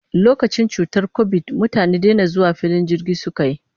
Lokacin cutar kobid, mutane dena zuwa filin jirgi suka yi.